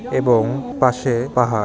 এবং পাশে পাহাড়- -